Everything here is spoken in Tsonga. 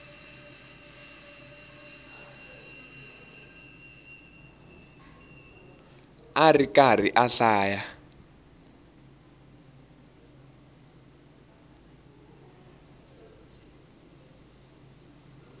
a ri karhi a hlaya